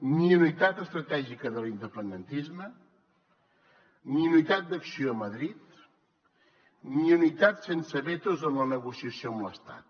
ni unitat estratègica de l’independentisme ni unitat d’acció a madrid ni unitat sense vetos en la negociació amb l’estat